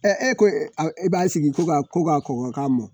Ɛ e ko e b'a sigi ko ka kkokokan mɛn